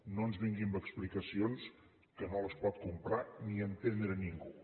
no ens vingui amb explicacions que no les pot comprar ni entendre ningú